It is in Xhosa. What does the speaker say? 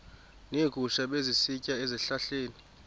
neegusha ebezisitya ezihlahleni